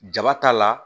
Jaba t'a la